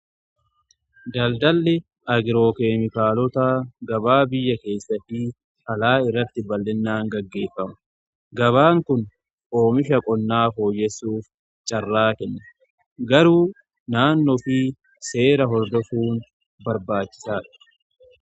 Daldalli agirookeemikaalotaa gabaa biyya keessaa fi alaa irratti bal'innaan gaggeeffamu. Gabaan kun oomisha qonnaa fooyyessuuf carraa kenna. Garuu naannoo fi seera hordofuun barbaachisaadha.